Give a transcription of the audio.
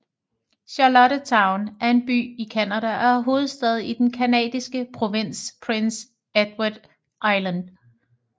Charlottetown er en by i Canada og er hovedstad i den canadiske provins Prince Edward Island